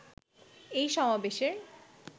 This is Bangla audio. এই সমাবেশের